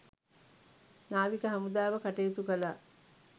නාවික හමුදාව කටයුතු කළා